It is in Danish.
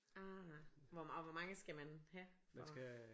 Ah hvor og hvor mange skal man have for